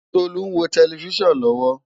Tolu n wó tèlèfisán lòwò